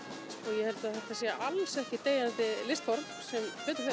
ég held að þetta sé alls ekki deyjandi listform sem betur fer